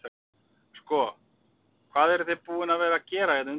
Sko hvað eruð þið búin að vera að að gera hérna undanfarið?